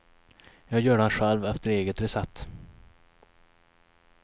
Jag gör den själv efter eget recept.